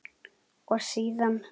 og síðan